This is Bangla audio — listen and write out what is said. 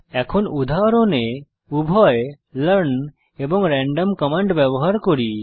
এখন উদাহরণে উভয় লার্ন এবং র্যান্ডম কমান্ড ব্যবহার করি